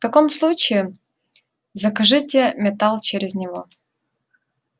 в таком случае закажите металл через него